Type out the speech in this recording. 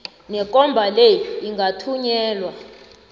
nekomba le ingathunyelwa